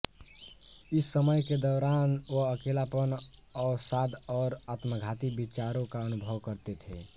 इस समय के दौरान वह अकेलापन अवसाद और आत्मघाती विचारों का अनुभव करते थे